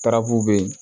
Tarabuw be yen